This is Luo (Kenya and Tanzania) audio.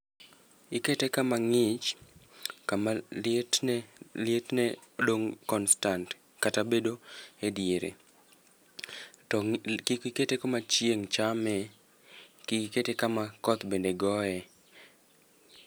Ikete kama ng'ich, kama lietne lietne dong' constant kata bedo e diere. To ng'i li kik ikete kama chieng' chame, kik ikete kama koth bende goye.